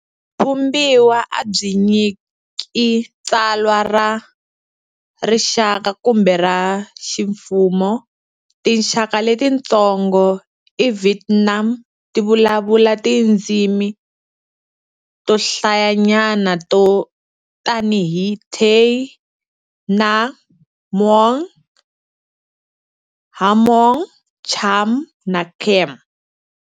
Vumbiwa a byi nyiki tsalwa ra rixaka kumbe ra ximfumo. Tinxaka letitsongo eVietnam ti vulavula tindzimi to hlayanyana to tanihi Tay, Nung, Muong, Hmong, Cham na Khmer.